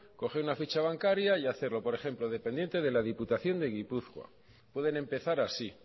coger una ficha bancaria y hacerlo por ejemplo dependiente de la diputación de gipuzkoa pueden empezar así